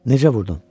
Necə vurdun?